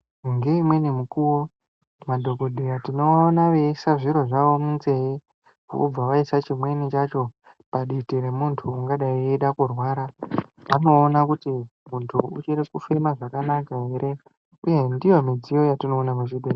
Ngeimweni mukuwo madhokodheya tinovaona veyiise zviro zvavo munzeye vobva vaisa chimweni chacho paditi remuntu ungadai eida kurwara kuona kuti uchiri kufema zvakanaka ere uye ndiyo midziyo yatinoona muzvibhehlera.